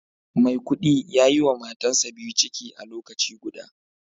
maikudi yayiwa matansa biyu ciki a lokaci guda